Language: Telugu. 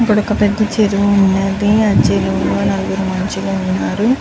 ఇక్కడ వక పేద చేరువ ఉనది హ చేరువ లో వక పేద ఉనది.